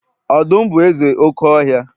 Ọdum bu eze oke ohia